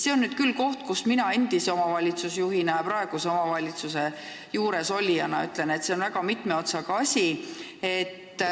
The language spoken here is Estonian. See on nüüd küll koht, kus mina endise omavalitsusjuhina ja praeguse omavalitsuse juures olijana ütlen, et see on väga mitme otsaga asi.